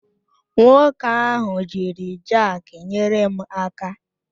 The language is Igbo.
Nwoke ahụ jiri jakị nyere m aka